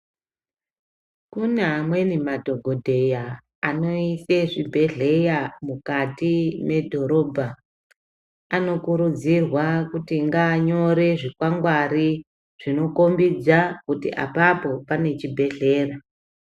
Kune amweni madhokodheya anoisa zvibhedhlera mukati medhorobha. Anokurudzirwa kuti ngaanyore zvikwangwari zvinokombidza kuti apapo pane chibhedhlera.